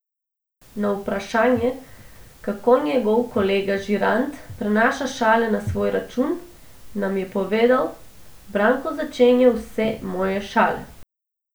Na vprašanje, kako njegov kolega žirant prenaša šale na svoj račun, nam je povedal: "Branko začenja vse moje šale.